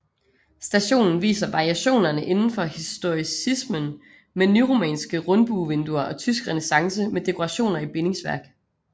Stationen viser variationerne indenfor historicismen med nyromanske rundbuevinduer og tysk renæssance med dekorationer i bindingsværk